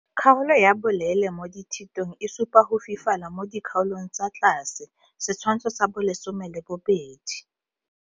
Kgaolo ya bolele mo dithitong e supa go fifala mo dikgaolong tsa tlase Setshwantsho sa 12.